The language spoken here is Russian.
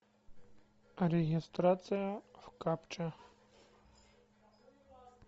регистрация в капча